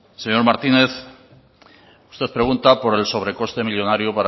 señor martínez usted pregunta por el sobrecoste millónario